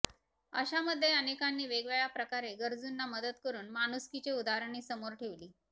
अशामध्ये अनेकांनी वेगवेगळ्या प्रकारे गरजूंना मदत करून माणुसकीचे उदाहरणे समोर ठेवली